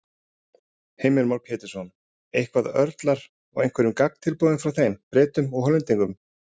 Heimir Már Pétursson: Eitthvað, örlar á einhverju gagntilboði frá þeim, Bretum og Hollendingum?